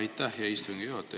Aitäh, hea istungi juhataja!